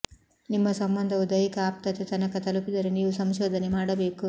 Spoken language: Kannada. ನಿಮ್ಮ ಸಂಬಂಧವು ದೈಹಿಕ ಆಪ್ತತೆ ತನಕ ತಲುಪಿದರೆ ನೀವು ಸಂಶೋಧನೆ ಮಾಡಬೇಕು